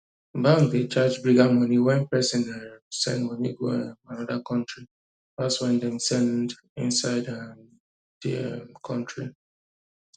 bank dey charge bigger money when person um send money go um another country pass when dem send inside um the um the country